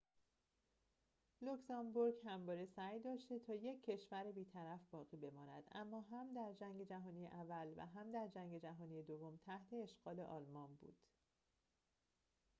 لوکزامبورگ همواره سعی داشته تا یک کشور بیطرف باقی بماند اما هم در جنگ جهانی اول و هم در جنگ جهانی دوم تحت اشغال آلمان بود